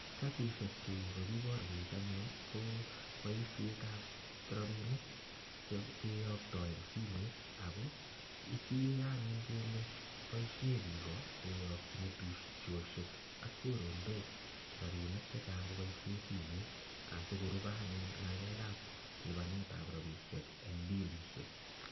Cnhatishe chu kokiborwech anyun ko boishetab rabinik kiyokto en simoit ak ko kikere anyun kele boishe biik koyokyin tubchoshek ak choronok rabinik chechang koboishen simeit asikorubeanyun ngalekab rabishek en bilishek.